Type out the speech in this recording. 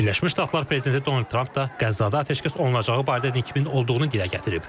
Birləşmiş Ştatlar prezidenti Donald Tramp da Qəzzada atəşkəs olunacağı barədə nikbin olduğunu dilə gətirib.